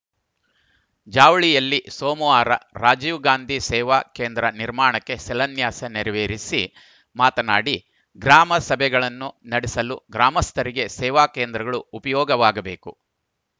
ಜಾವಳಿಯಲ್ಲಿ ಸೋಮವಾರ ರಾಜೀವ್‌ ಗಾಂಧಿ ಸೇವಾ ಕೇಂದ್ರ ನಿರ್ಮಾಣಕ್ಕೆ ಶಿಲಾನ್ಯಾಸ ನೆರವೇರಿಸಿ ಮಾತನಾಡಿ ಗ್ರಾಮ ಸಭೆಗಳನ್ನು ನಡೆಸಲು ಗ್ರಾಮಸ್ಥರಿಗೆ ಸೇವಾ ಕೇಂದ್ರಗಳು ಉಪಯೋಗವಾಗಬೇಕು